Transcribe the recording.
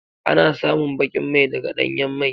Ana samun bakin mai daga ɗanyan mai.